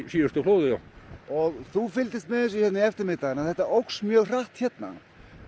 síðustu flóðum og þú fylgdist með þessu hérna í eftirmiðdaginn þetta óx mjög hratt hérna